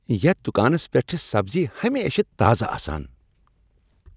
یتھ دُکانس پیٹھ چھِ سبزی ہمیشہٕ تازٕ آسان۔